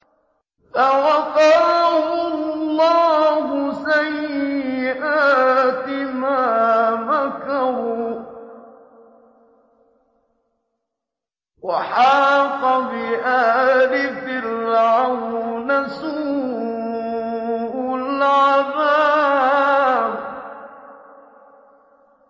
فَوَقَاهُ اللَّهُ سَيِّئَاتِ مَا مَكَرُوا ۖ وَحَاقَ بِآلِ فِرْعَوْنَ سُوءُ الْعَذَابِ